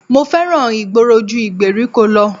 Mo fẹ́ràn ìgboro ju ìgbèríko lọ